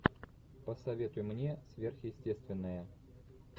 посоветуй мне сверхъестественное